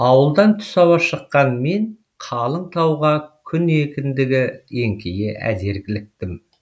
ауылдан түс ауа шыққан мен қалың тауға күн екіндігі еңкейе әзер іліктім